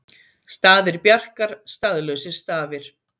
Staðir Bjarkar staðlausir stafir